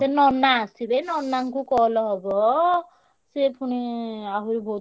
ଫେରେ ନନା ଆସିବେ ନନାଙ୍କୁ call ହବ, ସିଏ ପୁଣି ଆହୁରି ବହୁତ୍।